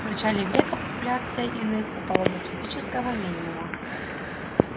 в начале века популяция иных упала до критического минимума